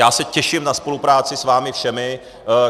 Já se těším na spolupráci s vámi všemi.